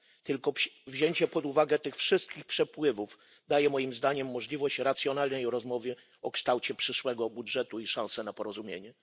Tylko wzięcie pod uwagę tych wszystkich przepływów daje moim zdaniem możliwość racjonalnej rozmowy o kształcie przyszłego budżetu i szansę na porozumienie.